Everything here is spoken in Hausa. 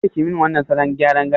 Kada kiyi min wannan salon gyaran gashin!